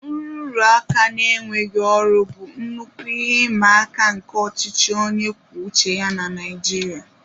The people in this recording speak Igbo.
Nrụrụaka na enweghị ọrụ bụ nnukwu ihe ịma aka nke ọchịchị onye kwuo uche ya na Naijiria